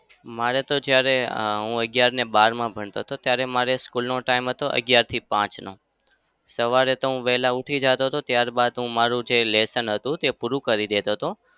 મારે તો જ્યારે હું અગિયાર અને બારમાં ભણતો ત્યારે મારે school નો time હતો અગિયારથી પાંચનો. સવારે તો હું વેહલા ઉઠી જાતો હતો. ત્યાર બાદ હું મારું જે લેસન હતું તે પૂરું કરી દેતો હતો.